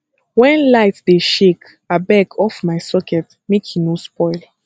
wen light dey shake abeg off my socket make e no spoil